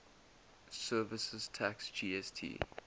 services tax gst